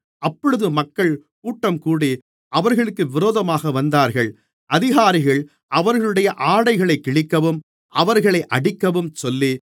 அப்பொழுது மக்கள் கூட்டம்கூடி அவர்களுக்கு விரோதமாக வந்தார்கள் அதிகாரிகள் அவர்களுடைய ஆடைகளைக் கிழிக்கவும் அவர்களை அடிக்கவும் சொல்லி